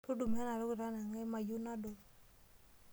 Tudumu ena toki tanang'ai mayieu nadol.